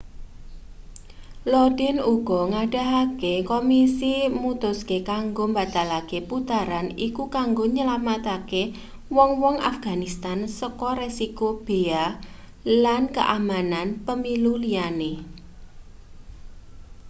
lodin uga ngandhakake komisi mutuske kanggo mbatalake putaran iku kanggo nylametake wong-wong afganistan saka resiko beya lan keamanan pemilu liyane